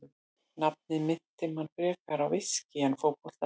Nafnið minnti mann frekar á viskí en fótbolta.